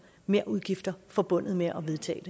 merudgifter forbundet med at vedtage